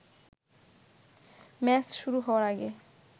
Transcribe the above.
match শুরু হওয়ার আগে